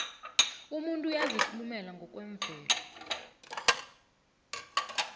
umuntu uyazikhulela ngokwemvelo